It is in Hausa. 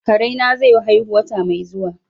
Kare na zai haihu wata mai zuwa.